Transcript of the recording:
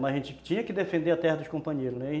Mas a gente tinha que defender a terra dos companheiros, né?